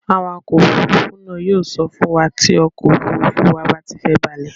Awakọ̀ òfurufú náà yóò sọ fún wa tí ọkọ̀ òfurufú wa bá ti fẹ́ balẹ̀.